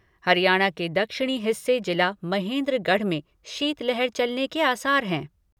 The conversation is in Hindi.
हरियाणा के दक्षिणी हिस्से, जिला महेन्द्रगढ़ में शीत लहार चलने के आसार हैं।